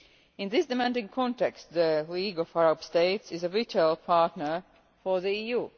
In this demanding context, the League of Arab States is a vital partner for the EU.